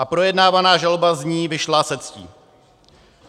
A projednávaná žaloba z ní vyšla se ctí.